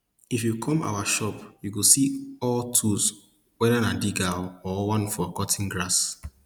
if you come our shop you go see all tools whether na digger or one for cutting grass